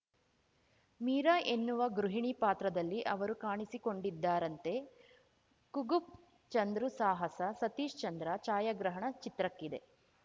ಮೀರಾ ಎನ್ನುವ ಗೃಹಿಣಿ ಪಾತ್ರದಲ್ಲಿ ಅವರು ಕಾಣಿಸಿಕೊಂಡಿದ್ದಾರಂತೆ ಕುಗ್‌ಫು ಚಂದ್ರು ಸಾಹಸ ಸತೀಶ್‌ ಚಂದ್ರ ಛಾಯಾಗ್ರಹಣ ಚಿತ್ರಕ್ಕಿದೆ